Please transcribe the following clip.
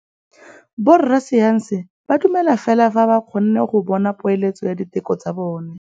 Borra saense ba dumela fela fa ba kgonne go bona poeletsô ya diteko tsa bone.